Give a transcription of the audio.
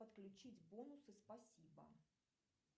подключить бонусы спасибо